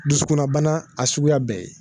Dusukunnabana a suguya bɛɛ